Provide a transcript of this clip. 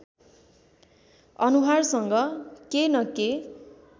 अनुहारसँग के न के